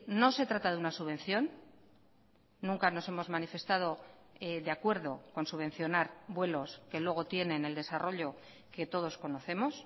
no se trata de una subvención nunca nos hemos manifestado de acuerdo con subvencionar vuelos que luego tienen el desarrollo que todos conocemos